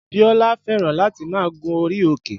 Bíólá fẹ́ràn láti máa gun orí òkè